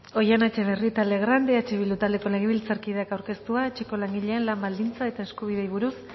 oihana etxebarrieta legrand eh bildu taldeko legebiltzarkideak aurkeztua etxeko langileen lan baldintza eta eskubideei buruz